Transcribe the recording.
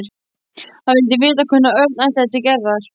Hann vildi vita hvenær Örn ætlaði til Gerðar.